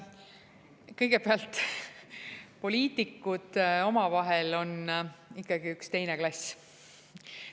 Kõigepealt, poliitikud omavahel on ikkagi üks teine klass.